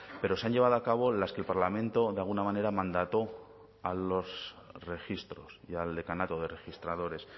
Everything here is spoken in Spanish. pero se han llevado a cabo las que el parlamento de alguna manera mandató a los registros y al decanato de registradores